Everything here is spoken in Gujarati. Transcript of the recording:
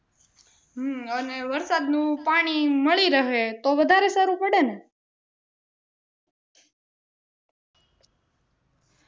હમ અને વરસાદનું પાણી મળી રહે તો વધારે સારું પડે ને